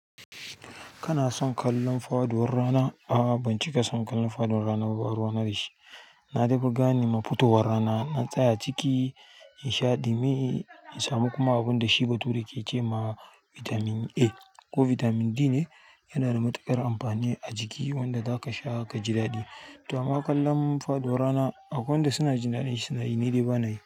Kana son kallon faduwar rana? A'a, ban cika son kallon faduwar rana ba. Ba ruwana dashi na daifi gane mafadowar rana na tsaya ciki, in sha ɗumi, in samu kuma abunda shi bature ke ce ma bitamin a ko bitamin B ne yanada matuƙar amfani a jiki wanda zakasha kaji daɗi to, amma kallon fadowar rana akwai wanda suna jin daɗin shi, suna yi, ni dai ba na yi.